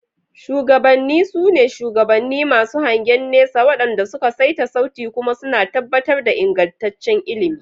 Shugabanni, su ne shugabanni masu hangen nesa waɗanda suka saita sauti kuma suna tabbatar da ingantaccen ilimi.